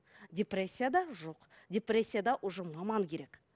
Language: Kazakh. депрессияда жоқ депрессияда уже маман керек